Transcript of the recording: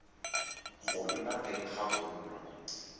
go nna teng ga bonno